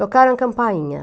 Tocaram a campainha.